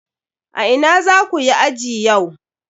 A ina zaku yi aji yau?